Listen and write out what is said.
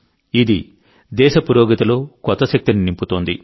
ఇది దేశ పురోగతిలో కొత్త శక్తిని నింపుతోంది